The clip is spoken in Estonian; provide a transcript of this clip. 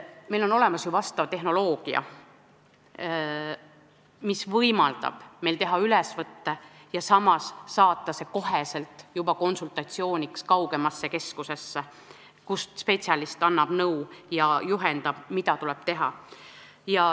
Meil on olemas ju vastav tehnoloogia, mis võimaldab teha ülesvõtte ja saata see kohe konsultatsiooni saamiseks kaugemasse keskusesse, kus spetsialist annab nõu ja juhendab, mida tuleb teha.